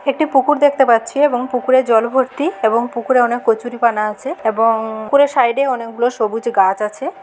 একটি পুকুর দেখতে পাচ্ছি। এবং পুকুরে জল ভর্তি এবং পুকুরে অনেক কচুরিপানা আছে ।এবং-- পুকুরের সাইডে অনেকগুলো সবুজ গাছ আছে।